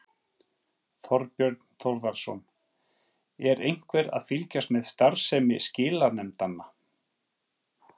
Þorbjörn Þórðarson: Er einhver að fylgjast með starfsemi skilanefndanna?